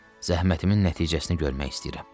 Zəhmətimin nəticəsini görmək istəyirəm.